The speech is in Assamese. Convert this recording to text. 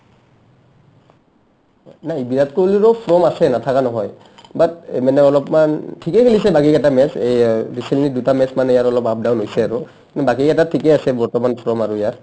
মানে বিৰাট কোহলিৰো form আছে নাথাকা নহয় but মানে অলপমান ঠিকে খেলিছে বাকীকেইটা match এই recently দুটা match মানে ইয়াৰ অলপ up-down হৈছে আৰু বাকী কেইটাত ঠিকে আছে বৰ্তমান from আৰু ইয়াৰ